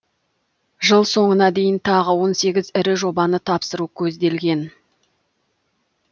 жыл соңына дейін тағы он сегіз ірі жобаны тапсыру көзделген